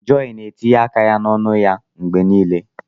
Joy na-etinye aka ya n'ọnụ ya mgbe niile.